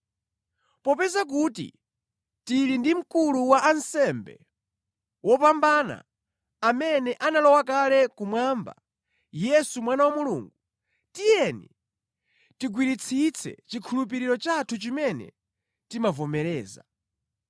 Popeza kuti tili ndi Mkulu wa ansembe wopambana, amene analowa kale kumwamba, Yesu Mwana wa Mulungu, tiyeni tigwiritsitse chikhulupiriro chathu chimene timavomereza.